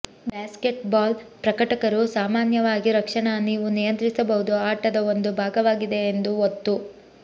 basketball ಪ್ರಕಟಕರು ಸಾಮಾನ್ಯವಾಗಿ ರಕ್ಷಣಾ ನೀವು ನಿಯಂತ್ರಿಸಬಹುದು ಆಟದ ಒಂದು ಭಾಗವಾಗಿದೆ ಎಂದು ಒತ್ತು